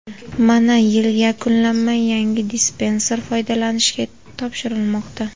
Mana, yil yakunlanmay, yangi dispanser foydalanishga topshirilmoqda.